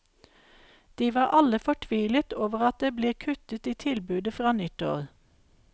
De var alle fortvilet over at det blir kuttet i tilbudet fra nyttår.